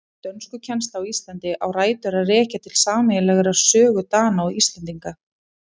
Dönskukennsla á Íslandi á rætur að rekja til sameiginlegrar sögu Dana og Íslendinga.